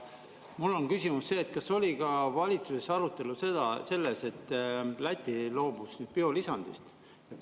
Mu küsimus on see: kas valitsuses oli ka arutelu sellest, et Läti loobus biolisandist?